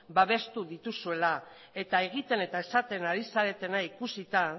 babestu dituzuela eta egiten eta esaten ari zaretena ikusita